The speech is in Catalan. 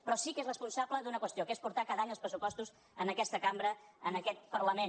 però sí que és responsable d’una qüestió que és portar cada any els pressupostos a aquesta cambra a aquest parlament